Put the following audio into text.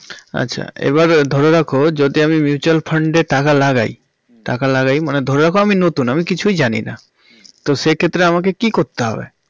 আচ্ছা এবার ধরে রাখ যদি আমি mutual fund এ টাকা লাগেই টাকা লাগেই মানে ধরে রাখো আমি নতুন আমি কিছুই জানিনা তো সে ক্ষেত্রে আমাকে কি করতে হবে